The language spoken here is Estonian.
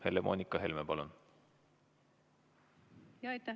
Helle-Moonika Helme, palun!